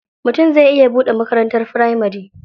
Mutum zai iya buɗe makarantar firamari.